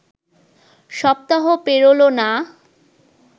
সপ্তাহও পেরোল না